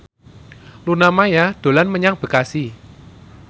Luna Maya dolan menyang Bekasi